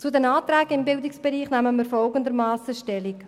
Zu den Anträgen im Bildungsbereich nehmen wir folgendermassen Stellung: